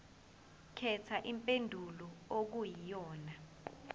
khetha impendulo okuyiyona